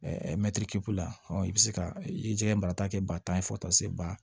la i bɛ se ka i ye jiɲɛ barata kɛ ba tan fo ka taa se ba